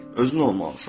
Özün olmalısan.